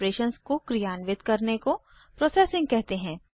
operations को क्रियान्वित करने को प्रोसेसिंग कहते हैं